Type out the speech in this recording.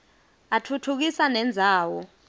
atfutfukisa nendzawo